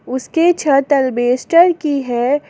उसके छत अल्बेस्टर की है।